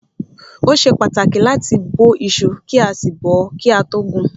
Ó ṣe pàtàkì láti bó iṣu kí a sì bọ́ọ́ kí a tó gun.